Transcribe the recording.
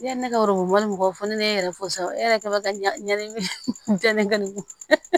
Yanni ne ka mɔgɔw fɔ ne ye yɛrɛ fo sa e yɛrɛ ka kɛ bɛ ka ɲani